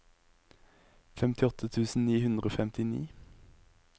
femtiåtte tusen ni hundre og femtini